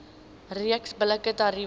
reeks billike tariewe